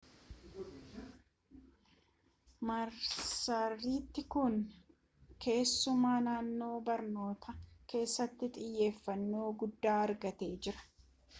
marsariitiin kun keessumaa naannoo barnootaa keessattti xiyyeeffannoo guddaa argatee jira